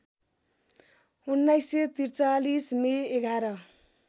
१९४३ May ११